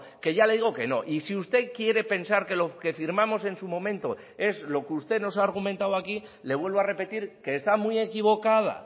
que ya le digo que no y si usted quiere pensar que lo que firmamos en su momento es lo que usted nos ha argumentado aquí le vuelvo a repetir que está muy equivocada